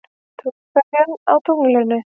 Tunglferjan á tunglinu.